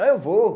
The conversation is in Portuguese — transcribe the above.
Ah, eu vou.